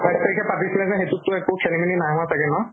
আঁঠাইছ তাৰিখে যে পাতিছিলে, সেইটোত টো একো খেলি মেলি নাই হোৱা চাগে?